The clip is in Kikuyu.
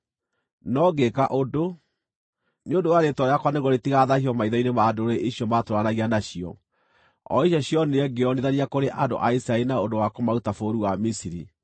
No ngĩĩka ũndũ, nĩ ũndũ wa rĩĩtwa rĩakwa nĩguo rĩtigathaahio maitho-inĩ ma ndũrĩrĩ icio maatũũranagia nacio, o icio cionire ngĩĩonithania kũrĩ andũ a Isiraeli na ũndũ wa kũmaruta bũrũri wa Misiri.